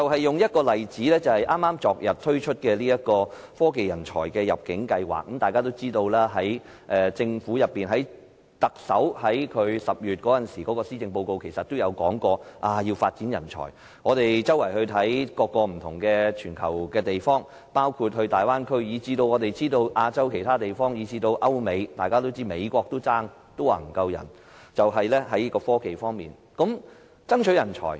舉例來說，昨天推出的科技人才入境計劃，大家也知道，特首於10月發表的施政報告提到要發展人才，我環顧全球各地，包括大灣區，以至亞洲其他地方和歐美，都在爭奪科技人才，說沒有足夠人才。